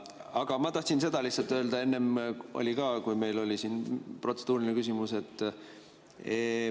Aga ma tahtsin öelda lihtsalt seda, millest oli juttu enne ka, kui oli protseduuriline küsimus.